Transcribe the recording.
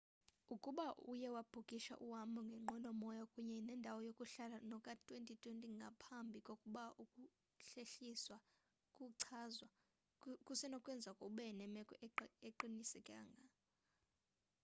ukuba uye wabhukisha uhambo ngenqwelo moya kunye nendawo yokuhlala noka-2020 ngaphambi kokuba ukuhlehliswa kuchazwa kusenokwenzeka ube nemeko engaqinisekanga